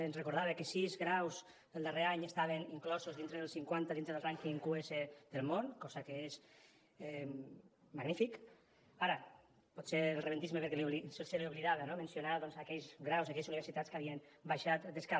ens recordava que sis graus el darrer any estaven inclosos dintre dels cinquanta dintre del rànquing qs del món cosa que és magnífica ara potser el rebentisme se li oblidava no mencionar doncs aquells graus i aquelles universitats que havien baixat d’escala